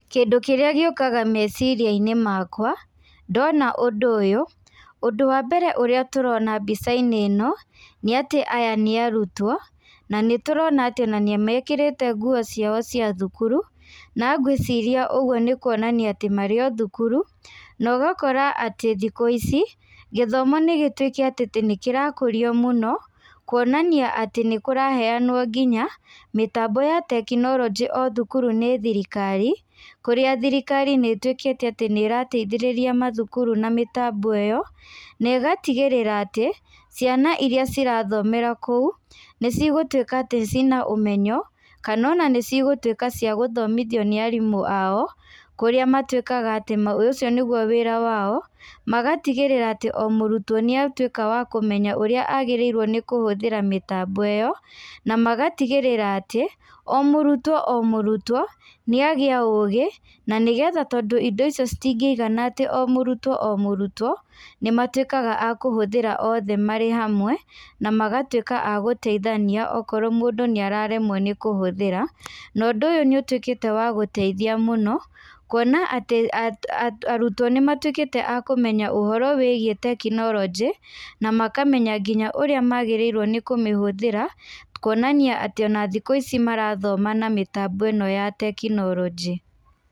Kĩndũ kĩrĩa gĩũkaga meciria-inĩ makwa, ndona ũndũ ũyũ, ũndũ wa mbere ũrĩa tũrona mbica-inĩ ĩno, nĩ atĩ aya nĩ arutwo, na nĩ tũrona atĩ ona nĩ mekĩrĩte nguo ciao cia thukuru. Na ngwĩciria ũguo nĩ kuonania atĩ marĩ o thukuru. Na ũgakora atĩ thikũ ici, gĩthomo nĩ gĩtũĩkĩte atĩ nĩ kĩrakũrio mũno, kuonania atĩ nĩ kũraheanwo nginya, mĩtambo ya tekinoronjĩ o thukuru nĩ thirikari. Kũrĩa thirikari nĩ ĩtuĩkĩte atĩ nĩ ĩrateithĩrĩria mathukuru na mĩtambo ĩyo. Na ĩgatigĩrĩra atĩ, ciana irĩa cirathomera kũu, nĩ cigũtuĩka atĩ cina ũmenyo, kana ona cigũtuĩka cia gũthomithio nĩ aarimũ ao, kũrĩa matuĩkaga atĩ ũcio nĩguo wĩra wao. Magatigĩrĩra atĩ o mũrutwo nĩ atuĩka wa kũmenya ũrĩa agĩrĩirwo nĩ kũhũthĩra mĩtambo ĩyo. Na magatigĩrĩra atĩ, o mũrutwo o mũrutwo, nĩ agĩa ũũgĩ, na nĩgetha tondũ indo icio citingĩigana atĩ o mũrutwo o mũrutwo, nĩ matuĩkaga a kũhũthĩra othe marĩ hamwe, na magatuĩka a gũteithania okorwo mũndũ nĩ araremwo nĩ kũhũthĩra. Na ũndũ ũyũ nĩ ũtuĩkĩte wa gũteithia mũno, kuona atĩ arutwo nĩ matuĩkĩte a kũmenya ũhoro wĩgiĩ tekinoronjĩ, na makamenya nginya ũrĩa magĩrĩirwo nĩ kũmĩhũthĩra, kuonania atĩ ona thikũ ici marathoma na mĩtambo ĩno ya tekinoronjĩ.